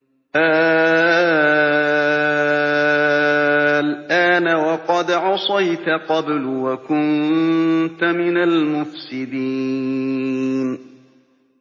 آلْآنَ وَقَدْ عَصَيْتَ قَبْلُ وَكُنتَ مِنَ الْمُفْسِدِينَ